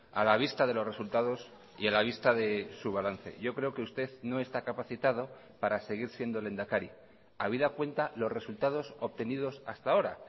a la vista de los resultados y a la vista de su balance yo creo que usted no está capacitado para seguir siendo lehendakari habida cuenta los resultados obtenidos hasta ahora